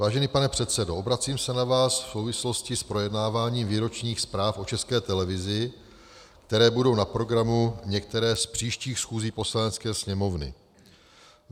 "Vážený pane předsedo, obracím se na vás v souvislosti s projednáváním výročních zpráv o České televizi, které budou na programu některé z příštích schůzí Poslanecké sněmovny.